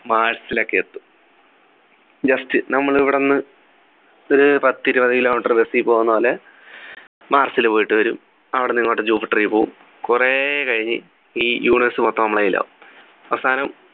mars ൽ ഒക്കെ എത്തും just നമ്മൾ ഇവിടെന്ന് ഒരു പത്തിരുപത് kilometre bus ൽ പോകുന്ന പോലെ mars ലു പോയിട്ട് വരും അവിടെന്നു ഇങ്ങോട്ട് jupiter ൽ പോകും കുറെ കഴിഞ്ഞ് ഈ universe മൊത്തം നമ്മുടെ കയ്യിലാവും അവസാനം